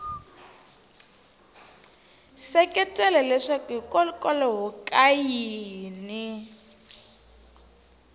seketela leswaku hikokwalaho ka yini